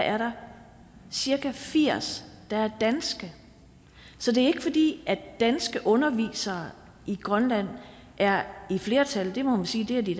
er der cirka firs der er danske så det er ikke fordi danske undervisere i grønland er i flertal det må man sige at de